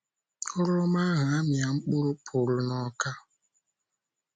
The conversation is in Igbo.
Ọrụ ọma ahụ amịa mkpụrụ pụrụ n'Awka